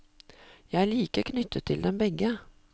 Jeg er like knyttet til dem begge.